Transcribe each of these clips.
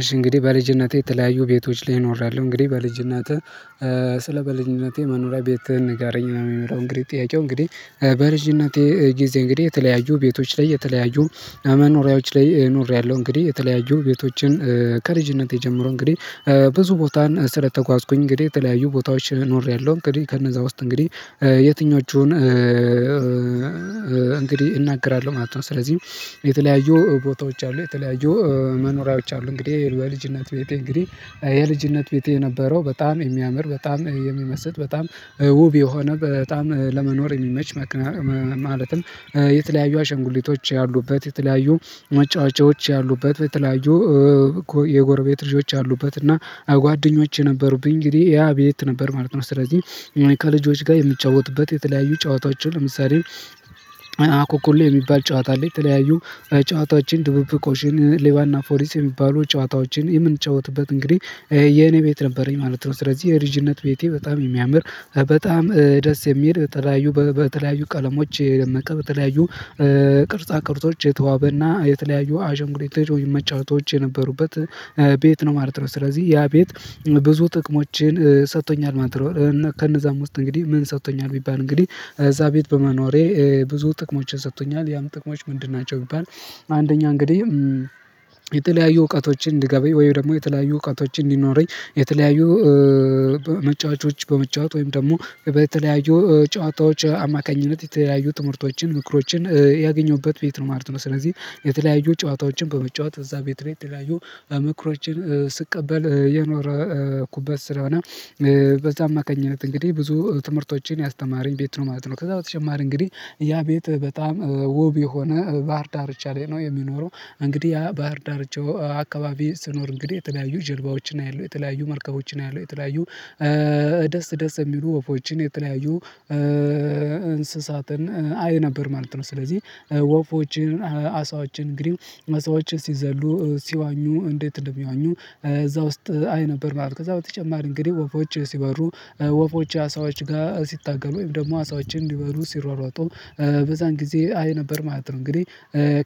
እሺ እንግዲህ በልጅነቴ የተለያዩ ቤቶች ላይ ኖሪያለሁ እንግዲህ በልጅነቴ ስለ በልጅነቴ መኖሪያ ቤትህን ንገረኝ የሚመለው እንግዲህ ጥያቄው እንግዲህ በልጅነቴ ጊዜ እንግዲህ የተለያዩ ቤቶች ላይ የተለያዩ መኖሪያዎች ላይ ኖሬያለሁ እንግዲህ የተለያዩ ቤቶችን ከልጅነቴ ጀምሮ እንግዲህ ብዙ ቦታ ስለተጓዝኩኝ እንግዲህ የተለያዩ ቦታዎች ኖሬያለሁ እንግዲህ ከነዛ ውስጥ እንግዲህ የትኞቹን እንግዲህ እናገራለሁ ማለት ነው። ስለዚህ የተለያዩ ቦታዎች አሉ የተለያዩ መኖሪያዎች አሉ። እንግዲህ በልጅነት ቤቴ እንግዲህ የልጅነት ቤቴ የነበረው በጣም የሚያምር በጣም የሚመስጥ በጣም ውብ የሆነ በጣም ለመኖር የሚመች ማለትም የተለያዩ አሸንጉሊቶች ያሉበት የተለያዩ መጫወቻዎች ያሉበት የተለያዩ የጎርቤት ልጆች አሉበት እና ጓደኞቼ ነበሩብኝ እንግዲህ ያ ቤት ነበር ማለት ነው። ስለዚህ ከልጆች ጋር የምጫወትበት የተለያዩ ጨዋታዎች ለምሳሌ አኮኮሌ የሚባል ጨዋታ ላይ ተለያዩ ጨዋታዎችን ድብብቆሽን ሌባና ፖሊስ የሚባሉ ጨዋታዎችን የምንጫወትበት እንግዲህ የኔ ቤት ነበረኝ ማለት ነው። ስለዚህ የልጅነት ቤቴ በጣም የሚያምር በጣም ደስ የሚል በተለያዩ ቀለሞች በተለያዩ ቅርጻ ቅርጾች የተዋበና የተለያዩ አሻንጉሊቶች ወይም መጫወቻዎች የነበሩበት ቤት ነው ማለት ነው። ስለዚህ ያ ቤት ብዙ ጥቅሞችን ሰጥቶኛል ማለት ነው። ከነዛም ውስጥ እንግዲህ ምን ሰጥቶኛል ቢባል እንግዲህ እዛ ቤት በመኖሬ ብዙ ጥቅሞች ሰጥቶኛል ያም ጥቅሞች ምንድን ናቸው? ቢባል አንደኛ እንግዲህ የተለያዩ እውቀቶችን እንድገባኝ ወይም ደግሞ የተለያዩ እውቀቶችን እንዲኖረኝ የተለያዩ መጫዎቻዎች በመጫወት ወይም ደግሞ በተለያዩ ጨዋታዎች አማካኝነት የተለያዩ ጥምርቶችን ንክሮችን ያገኘሁበት ቤት ነው ማለት ነው። ስለዚህ የተለያዩ ጨዋታዎችን በመጫወት እዛ ቤት ላይ ተለያዩ ምክሮችን ስቀበል የኖርኩበት ስለሆነ በዛ አማካኝነት እንግዲህ ብዙ ትምህርቶችን ያስተማረኝ ቤት ነው ማለት ነው። ከዛ በተጨማሪ እንግዲህ ያ ቤት በጣም ዉብ የሆነ ባህር ዳርቻ ላይ ነው የሚኖረው። እንግዲህ ያ ባህር ዳርቻው አካባቢ ስኖር እንግዲህ የተለያዩ ጀልባዎችን አያለሁ የተለያዩ መርከቦችን አያለሁ ደስ ደስ የሚሉ ወፎችን የተለያዩ እንስሳትን አይ ነበር ማለት ነው። ስለዚህ ወፎችን አሳዎችን እንግዲህ አሳዎችን ሲዘሉ ሲዋኙ እንዴት እንደሚዋኙ እዛ ውስጥ አይ ነበር ማለት ነው። ከዛ በተጨማሪ እንግዲህ ወፎች ሲበሩ ወፎች አሳዎች ጋር ሲታገሉ ወይም ደግሞ አሳዎችን ሊበሉ ሲሯሯጡ በዛን ጊዜ አይ ነበር ማለት ነው። እንግዲህ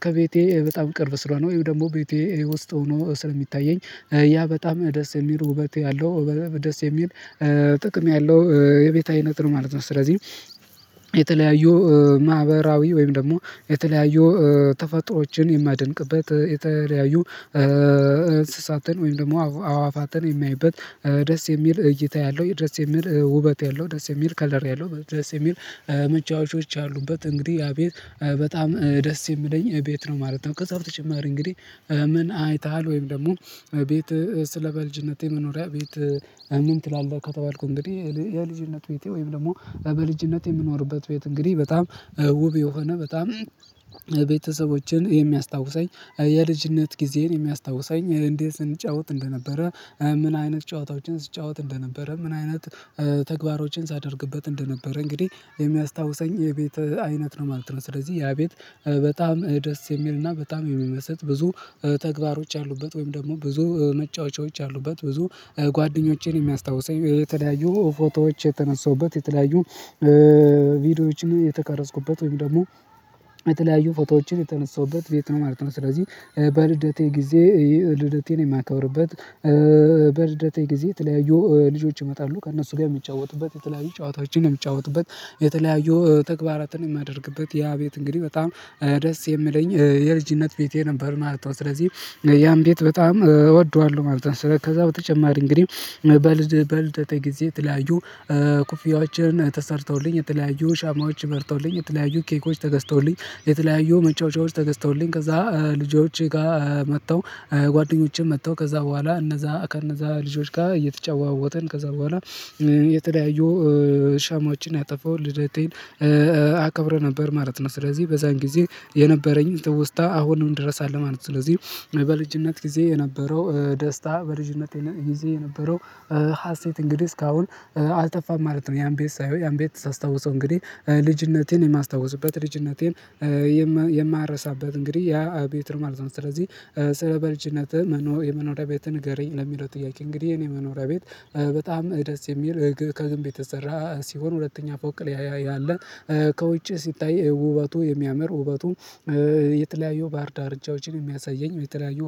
ከቤቴ በጣም ቅርብ ስለሆነ ወይም ደግሞ ቤቴ ውስጥ ሆኖ ስለሚታየኝ ያ በጣም ደስ የሚል ውበት ያለው ደስ የሚል ጥቅም ያለው የቤት አይነት ነው ማለት ነው። ስለዚህ የተለያዩ ማህበራዊ ወይም ደግሞ የተለያዩ ተፈጥሮዎችን የማደንቅበት የተለያዩ እንስሳትን ወይም ደግሞ አዕዋፋትን የማይበት ደስ የሚል እይታ ያለው ደስ የሚል ውበት ያለው ደስ የሚል ከለር ያለው ደስ የሚል መጫዎች አሉበት እንግዲህ ያ ቤት በጣም ደስ የሚለኝ ቤት ነው ማለት ነው። ከዛ በተጨማሪ እንግዲህ ምን አይተሃል? ወይም ደግሞ ቤት ስለ በልጅነቴ መኖሪያ ቤት ምን ትላለህ ከተባልኩ እንግዲህ የልጅነት ቤቴ ወይም ደግሞ በልጅነት የምኖርበት ቤት እንግዲህ በጣም ውብ የሆነ በጣም ቤተሰቦችን የሚያስታውሰኝ የልጅነት ጊዜን የሚያስታውሰኝ እንዴት ስንጫወት እንደነበረ ምን አይነት ጨዋታዎችን ስጫወት እንደነበረ ምን አይነት ተግባሮችን ሳደርግበት እንደነበረ እንግዲህ የሚያስታውሰኝ የቤት አይነት ነው ማለት ነው። ስለዚህ ያ ቤት በጣም ደስ የሚልና በጣም የሚመስጥ ብዙ ተግባሮች ያሉበት ወይም ደግሞ ብዙ መጫወቻዎች አሉበት ብዙ ጓደኞቼን የሚያስታውሰኝ የተለያዩ ፎቶዎች የተነሳሁበት የተለያዩ ቪዲዮዎችን የተቀረጽኩበት ወይም ደግሞ የተለያዩ ፎቶዎችን የተነሳውበት ቤት ነው ማለት ነው። ስለዚህ በልደቴ ጊዜ ልደቴን የማከብርበት በልደቴ ጊዜ የተለያዩ ልጆች ይመጣሉ ከእነሱ ጋር የምጫወትበት የተለያዩ ጨዋታዎችን የምጫወትበት የተለያዩ ተግባራትን የማደርግበት ያ ቤት እንግዲህ በጣም ደስ የሚለኝ የልጅነት ቤቴ ነበር ማለት ነው። ስለዚህ ያን ቤት በጣም እወደዋለሁ ማለት ነው። ስለዚህ ከዛ በተጨማሪ እንግዲህ በልደቴ ጊዜ የተለያዩ ኩፊያዎችን ተሰርተውልኝ የተለያዩ ሻማዎች በርተውልኝ የተለያዩ ኬኮች ተገዝተውልኝ የተለያዩ መጫዎች ተገዝተውልኝ ከዛ ልጆች ጋር መጥተው ጓደኞቸም መጥተው ከዛ በኋላ እነዛ ከእነዛ ልጆች ጋር እየተጨዋወትን ከዛ በኋላ የተለያየው ሻማዎችን አጠፋሁ ልደቴን አከብር ነበር ማለት ነው ስለዚህ በዛን ጊዜ የነበረኝ ትውስታ አሁንም ድረስ አለ ማለት ነው። ስለዚህ በልጅነት ጊዜ የነበረው ደስታ በልጅነት ጊዜ የነበረው ሀሴት እንግዲህ እስካሁን አልጠፋም ማለት ነው። ያን ቤት ሳይሆን ያን ቤት ሳስታውሰው እንግዲህ ልጅነቴን የማስታውስበት ልጅነቴን የማረሳበት እንግዲህ ያ ቤት ማለት ነው። ስለዚህ ስለ በልጅነት የመኖሪያ ቤት ንገረኝ ለሚለው ጥያቄ እንግዲህ የኔ መኖሪያ ቤት በጣም ደስ የሚል ከግንብ የተሰራ ሲሆን ሁለተኛ ፎቅ ያለ ከውጪ ሲታይ ውበቱ የሚያምር ውበቱ የተለያዩ ባህር ዳርቻዎችን የሚያሳየኝ የተለያዩ